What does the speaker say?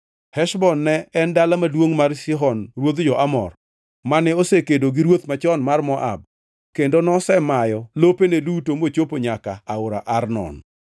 Heshbon ne en dala maduongʼ mar Sihon ruodh jo-Amor mane osekedo gi ruoth machon mar Moab kendo nosemayo lopene duto mochopo nyaka aora Arnon.